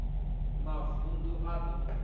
mavund u a d o